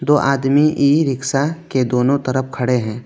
दो आदमी e rickshaw के दोनों तरफ खड़े हैं।